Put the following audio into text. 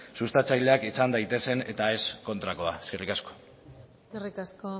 sustatzaileak izan daitezen eta ez kontrakoa eskerrik asko eskerrik asko